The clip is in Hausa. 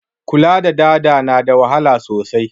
Kula da dada na da wahala sosai